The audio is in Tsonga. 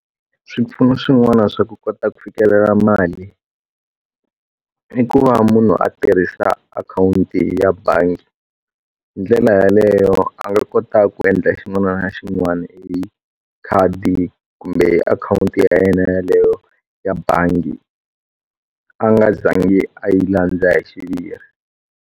Swipfuno swin'wana swa ku kota ku fikelela mali i ku va munhu a tirhisa akhawunti ya bangi hi ndlela yaleyo a nga kota ku endla xin'wana na xin'wana hi khadi kumbe akhawunti ya yena yaleyo ya bangi a nga zangi a yi landza hi xiviri.